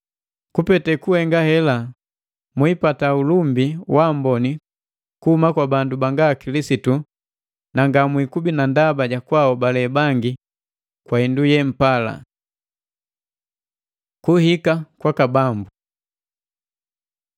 Kupete kuhenga hela mwiipata ulumbi waamboni kuhuma kwa bandu banga akilisitu, na nga mwiikubi na ndaba ja kwaahobale bangi kwa hindu yempala. Kuhika kwaka Bambu